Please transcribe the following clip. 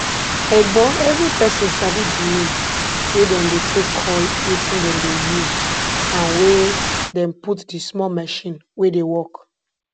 egbon evri persin sabi di name wey dem dey take call wetin dem dey use and wey dem put di small machine wey dey work